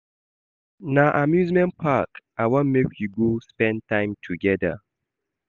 Na amusement park I wan make we go spend time togeda.